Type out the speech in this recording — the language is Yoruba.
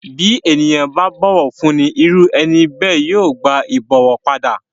Bí ènìyàn bá bọ̀wọ̀ fúnni irú ẹni bẹ́ẹ̀ yóò gba ìbọ̀wọ̀ padà.